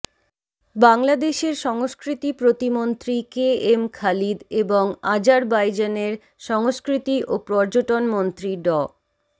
বাংলাদেশের সংস্কৃতি প্রতিমন্ত্রী কেএম খালিদ এবং আজারবাইজানের সংস্কৃতি ও পর্যটন মন্ত্রী ড